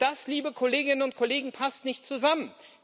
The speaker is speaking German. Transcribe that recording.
Und das, liebe Kolleginnen und Kollegen, passt nicht zusammen.